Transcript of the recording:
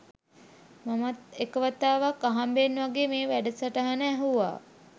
මමත් එක වතාවක් අහම්බෙන් වගේ මේ වැඩසටහන ඇහුවා